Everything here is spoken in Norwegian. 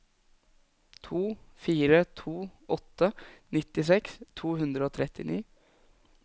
to fire to åtte nittiseks to hundre og trettini